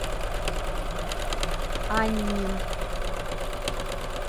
аньнин